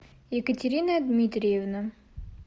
екатерина дмитриевна